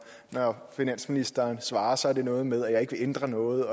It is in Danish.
når finansministeren svarer så er noget med at jeg ikke vil ændre noget